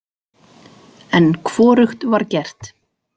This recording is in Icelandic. En hvorugt var gert.